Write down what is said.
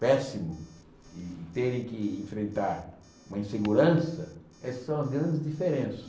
péssimo e terem que enfrentar uma insegurança, essas são as grandes diferenças.